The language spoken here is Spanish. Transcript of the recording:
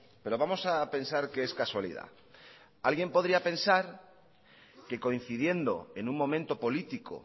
pero vamos a pensar que es casualidad alguien podría pensar que coincidiendo en un momento político